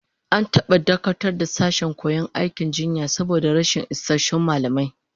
An taba dakatar da sashen koyon aikin jinya saboda rashin isassun mallamai